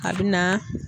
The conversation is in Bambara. A bɛ na